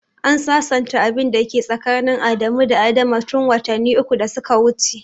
An sasanta abin da ke tsakanin Adamu da Adama tun watanni uku da suka wuce.